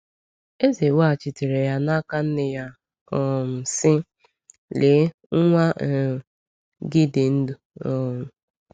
Eze weghachitere ya n’aka nne ya um sị: “Lee, nwa um gị dị ndụ.” um